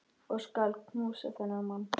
Ég skal knúsa þennan mann!